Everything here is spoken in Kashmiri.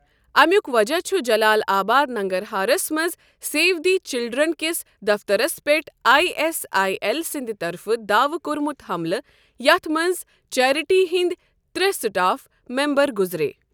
اَمیُک وجہ چھُ جلال آباد، ننٛگرہارَس منٛز سیو دِی چِلڑن کِس دفترَس پٮ۪ٹھ آٮٔی ایس آٮٔی ایل سٕنٛدِ طرفہٕ داوٕ کوٚرمُت حملہٕ، یَتھ منٛز چیریٹی ہِنٛدۍ ترٛےٚ سٹاف ممبَر گُزرے۔